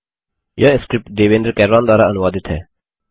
यह स्क्रिप्ट देवेन्द्र कैरवान द्वारा अनुवादित है